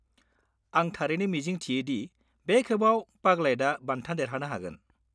आं थारैनो मिजिं थियो दि बे खेबाव पागलैतआ बान्था देरहानो हागोन।